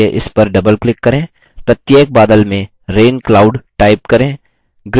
प्रत्येक बादल में rain cloud type करें